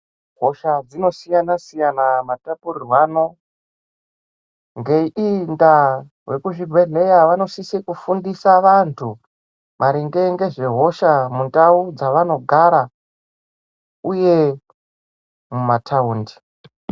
Hosha dzinosiyana siyana matalurirwano ngeiyi ndaa vemuzvibhedhlera vanosise kufundisa vantu maringe nehosha mundau dzavanogara uye mumataundi .